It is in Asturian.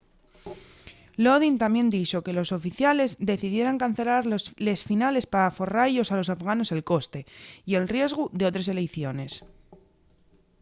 lodin tamién dixo que los oficiales decidieran cancelar les finales p'aforra-yos a los afganos el coste y el riesgu d'otres eleiciones